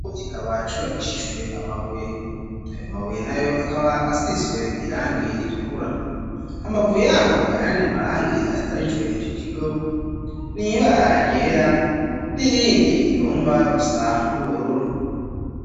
Ikigo kikaba cubakishishijwe amabuye, ayo mabuye nayo akaba asizwe irangi ritukura, hambavu yaho ayandi marangi asharijwe ico kigo n'ibara ryera n'irindi rigomba gusa n'ubururu.